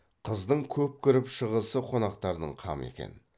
қыздың көп кіріп шығысы қонақтардың қамы екен